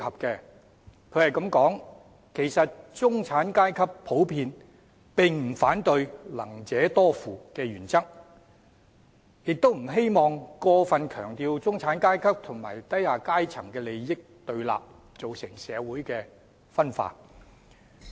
文中說到"其實中產階級普遍並不反對'能者多付'的原則，也不希望過份強調中產階級和低下階層的利益對立，造成社會分化。